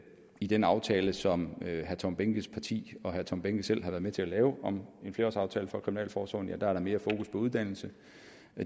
i den aftale som herre tom behnkes parti og herre tom behnke selv har været med til at lave om en flerårsaftale for kriminalforsorgen er der mere fokus på uddannelse